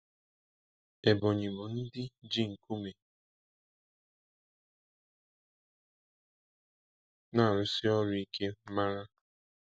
Ebonyi bụ ndị ji nkume na-arụsi ọrụ ike mara.